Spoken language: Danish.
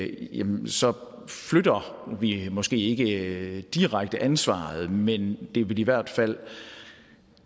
igennem så flytter vi måske ikke direkte ansvaret men det vil i hvert fald